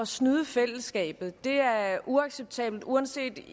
snyde fællesskabet er uacceptabelt uanset